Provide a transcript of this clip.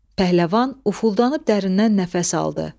Pəhləvan ufuldanıb dərindən nəfəs aldı.